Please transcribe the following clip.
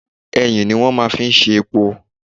Ẹyìn ní wọ́n máa fi ń ṣe epo.